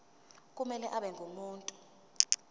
kumele abe ngumuntu